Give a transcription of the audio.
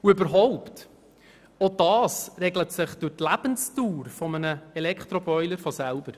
Und überhaupt regelt es sich aufgrund der Lebensdauer eines Elektroboilers von selbst.